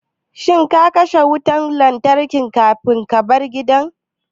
Shin ka kashe ƙwan wutan lantarkin kafin kabar gida?